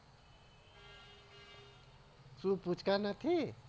સુ પૂચકા નથી.